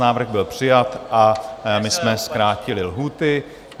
Návrh byl přijat a my jsme zkrátili lhůty.